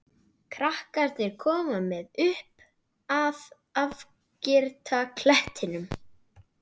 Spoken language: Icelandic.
Krakkarnir koma með upp að afgirta klettinum.